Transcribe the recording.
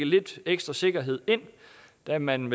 lidt ekstra sikkerhed ind da man